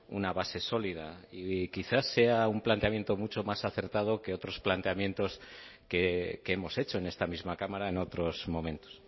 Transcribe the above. una base sólida y quizá sea un planteamiento mucho más acertado que otros planteamientos que hemos hecho en esta misma cámara en otros momentos